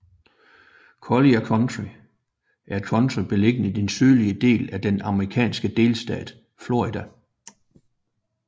Collier County er et county beliggende i den sydlige del af den amerikanske delstat Florida